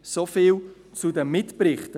Soviel zu den Mitberichten.